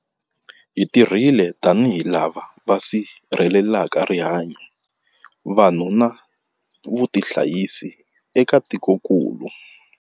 Hi tirhile tanihi lava va sirhelelaka rihanyu, vanhu na vutihanyisi eka tikokulu.